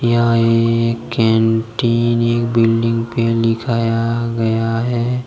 यहां एक कैंटीन एक बिल्डिंग पे लिखाया गया है।